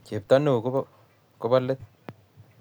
Chepto noe ko kobo let